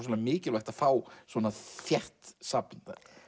mikilvægt að fá svona þétt safn